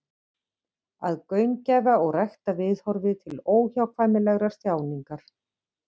Að gaumgæfa og rækta viðhorfið til óhjákvæmilegrar þjáningar.